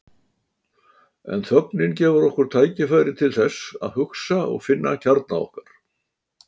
En þögnin gefur okkur tækifæri til þess að hugsa og finna kjarna okkar.